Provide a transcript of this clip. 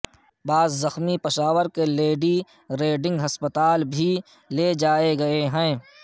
بعض زخمی پشاور کے لیڈی ریڈنگ ہسپتال بھی لے جائے گئے ہیں